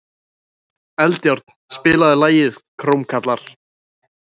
Eldjárn, spilaðu lagið „Krómkallar“.